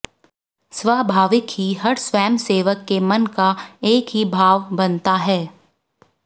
स्वाभाविक ही हर स्वयंसेवक के मन का एक ही भाव बनता है